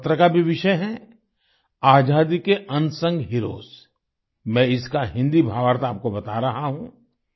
इनके पत्र का भी विषय है आजादी के अनसंग हीरोज मैं इसका हिंदी भावार्थ आपको बता रहा हूं